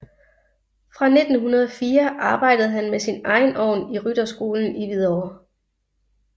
Fra 1904 arbejdede han med sin egen ovn i rytterskolen i Hvidovre